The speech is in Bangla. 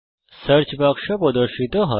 সার্চ বাক্স প্রদর্শিত হয়